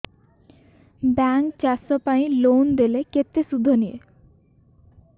bank ଚାଷ ପାଇଁ loan ଦେଲେ କେତେ ସୁଧ ନିଏ